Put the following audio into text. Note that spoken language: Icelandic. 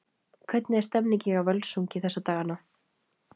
Hvernig er stemningin hjá Völsungi þessa dagana?